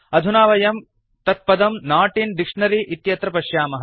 अधुना वयं तत्पदं नोट् इन् डिक्शनरी इत्यत्र पश्यामः